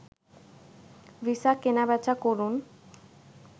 visa কেনাবেচা করুন